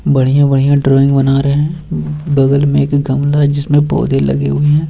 बढ़िया-बढ़िया ड्राइंग बना रहें हैं बगल में एक गमला है जिसमें पौधे लगे हुए हैं।